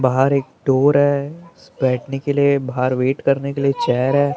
बाहर एक डोर है बैठने के लिए बाहर वेट करने के लिए एक चेयर है ।